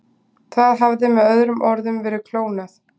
Það hafði með öðrum orðum verið klónað.